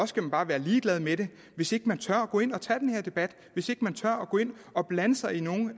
skal bare være ligeglad med dem hvis ikke man tør gå ind og tage den her debat hvis ikke man tør gå ind og blande sig i nogle